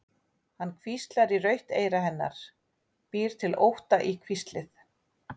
Hann hvíslar í rautt eyra hennar, býr til ótta í hvíslið.